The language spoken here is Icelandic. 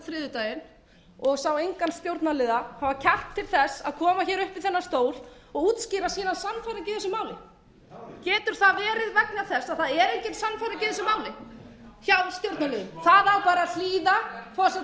þriðjudaginn og sá engan stjórnarliða hafa kjark til þess að koma upp í þennan stór og útskýra sína sannfæringu í þessu máli getur það verið vegna þess að það er engin sannfæring í þessu máli hjá stjórnarliðum